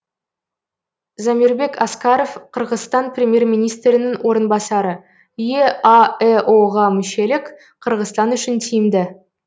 замирбек аскаров қырғызстан премьер министрінің орынбасары еаэо ға мүшелік қырғызстан үшін тиімді